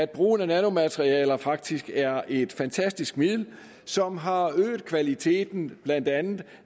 brugen af nanomaterialer at det faktisk er et fantastisk middel som har øget kvaliteten af blandt andet